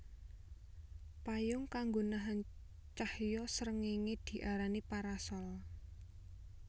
Payung kanggo nahan cahya srengéngé diarani parasol